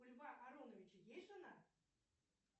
у льва ароновича есть жена